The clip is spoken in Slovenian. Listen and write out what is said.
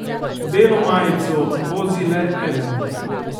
Belo majico vozi le eden.